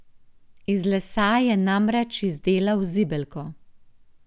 Iz lesa je namreč izdelal zibelko.